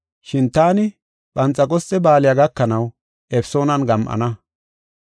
Shin taani Phanxeqosxe Ba7aaley gakanaw Efesoonan gam7ana.